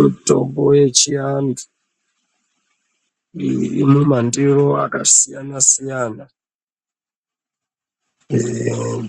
Mitombo yechiantu iri mumandiro akasiyana siyana